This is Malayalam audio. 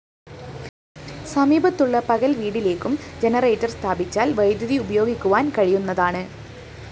സമീപത്തുള്ള പകല്‍ വീടിലേക്കും ജനറേറ്റർ സ്ഥാപ്പിച്ചാല്‍ വൈദ്യുതി ഉപയോഗിക്കുവാന്‍ കഴിയുന്നതാണ്